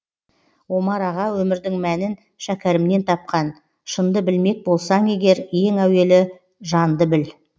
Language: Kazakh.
омар аға өмірдің мәнін шәкәрімнен тапқан шынды білмек болсаң егер ең әуелі жанды біл